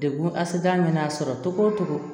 Dekun asada mana sɔrɔ cogo cogo